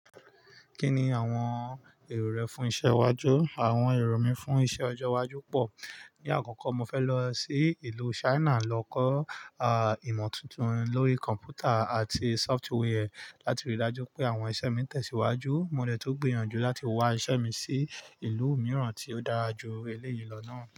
Kí ni àwọn èrò rẹ fún iṣẹ́ iwájú? Àwọn èrò mi fún iṣẹ́ ọjọ́ iwájú pọ̀. Ní àkọ́kọ́, mo fẹ́ lọ sí ìlú China lọ kọ́ ìmọ̀ tuntun lórí kọ̀m̀pútà àti sọfitíwẹ́ẹ̀ láti rí dájú pé àwọn iṣẹ́ mi tẹ̀síwájú. Mo dẹ̀ tún gbìyànjú láti wá iṣẹ́ mi sí ìlú mìíràn tí ó dára ju eléyi lo náà.